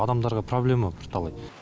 адамдарға проблема бірталай